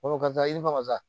Fɔlɔ karisa yiriwa